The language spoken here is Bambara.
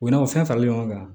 U n'a fɔ fɛn faralen ɲɔgɔn kan